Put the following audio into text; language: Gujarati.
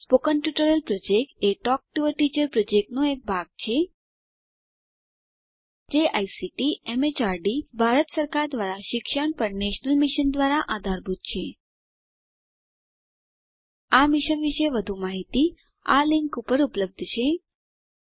spoken tutorial project a talk to a teacher પ્રોજેક્ટનો એક ભાગ છે જે આઇસીટી એમએચઆરડી ભારત સરકાર દ્વારા શિક્ષણ પર નેશનલ મિશન દ્વારા આધારભૂત છે આ મિશન પર વધુ માહીતી આ લીંક પર ઉપલબ્ધ છે httpspoken tutorialorgNMEICT Intro